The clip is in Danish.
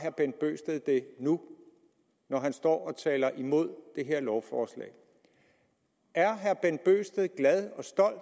bent bøgsted har det nu når han står og taler imod det her lovforslag er herre bent bøgsted glad